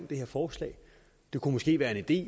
det her forslag det kunne måske være en idé